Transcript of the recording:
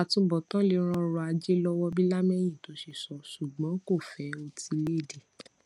àtubòtán lè ran ọrò ajé lówó bí lámèyító ṣe sọ ṣùgbón kò fẹ otílèèdè